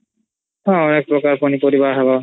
ହଁ ଏକ୍ ପ୍ରକାର୍ ପନିପରିବା ହବ